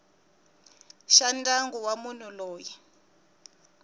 xa ndyangu wa munhu loyi